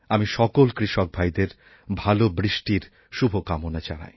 আমি সকল কৃষক ভাইদের ভালো বৃষ্টির শুভকামনা জানাই